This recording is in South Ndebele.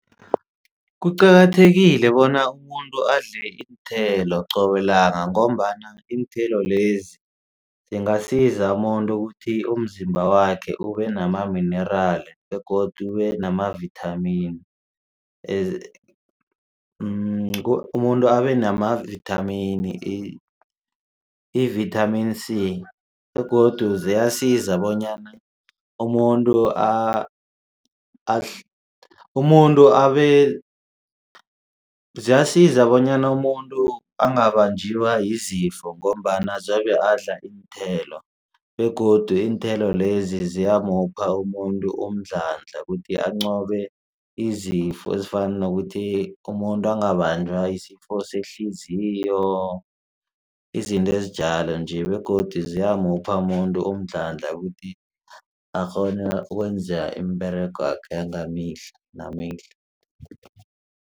Kuqakathekile bona umuntu adle iinthelo qobelanga ngombana iinthelo lezi zingasiza umuntu ukuthi umzimba wakhe ube nama-mineral begodu namavithamini umuntu abe namavithamini i-Vitamin c. Begodu ziyasiza bonyana umuntu ziyasiza bonyana umuntu angabanjwa zizifo ngombana zobe adla iinthelo begodu iinthelo lezi ziyamupha umuntu umdlandla kuthi anqobe izifo ezifana nokuthi umuntu angabanjwa yisifo sehliziyo izinto ezinjalo nje begodu ziyamupha umuntu umdlandla ukuthi akghone ukwenze imiberego wakhe wangemihla nemihla.